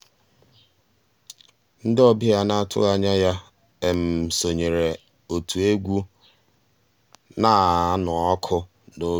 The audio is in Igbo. ndị́ ọ̀bịá á ná-àtụ́ghị́ ànyá yá sonyééré ótú égwu ná-ànụ́ ọ́kụ́ n'òbí.